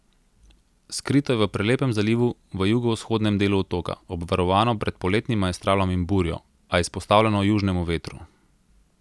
Skrito je v prelepem zalivu v jugovzhodnem delu otoka, obvarovano pred poletnim maestralom in burjo, a izpostavljeno južnemu vetru.